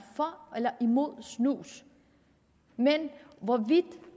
for eller imod snus men hvorvidt